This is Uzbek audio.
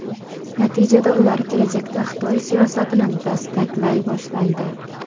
Natijada ular kelajakda Xitoy siyosatini dastaklay boshlaydi.